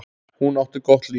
Hún átti gott líf.